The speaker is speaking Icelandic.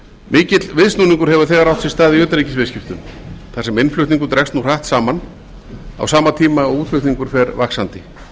mikill viðsnúningur hefur þegar átt sér stað í utanríkisviðskiptum þar sem innflutningur dregst nú hratt saman á sama tíma og útflutningur fer vaxandi